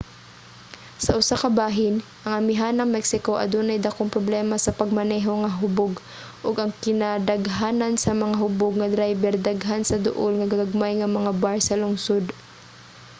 sa usa ka bahin ang amihanang mexico adunay dakong problema sa pagmaneho nga hubog ug ang kinadaghanan sa mga hubog nga drayber daghan sa duol nga gagmay nga mga bar sa lungsod